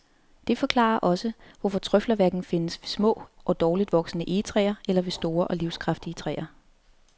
Det forklarer også, hvorfor trøfler hverken findes ved små og dårligt voksende egetræer eller ved store og livskraftige træer.